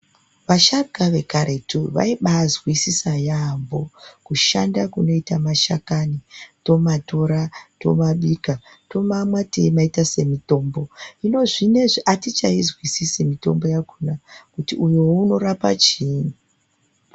Vasharukwa vekaretu vaibazwisisa yaamho kushanda kunoite mashakani tomatora tomabika tomamwa teimaita semitombo hino zvinezvi atichaizwisisi mitombo yakona kuti uyu unorapa chiini.